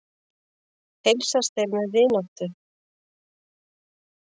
Heilsast þeir með vináttu.